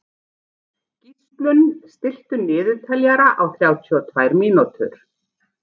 Gíslunn, stilltu niðurteljara á þrjátíu og tvær mínútur.